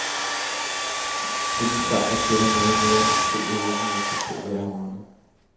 Denne sejr tæller noget mere end de to europamesterskaber jeg har vundet.